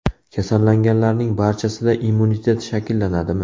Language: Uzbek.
Kasallanganlarning barchasida immunitet shakllanadimi?